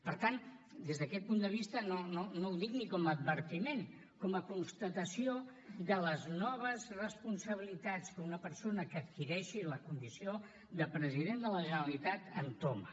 per tant des d’aquest punt de vista no ho dic ni com a advertiment com a constatació de les noves responsabilitats que una persona que adquireixi la condició de president de la generalitat entoma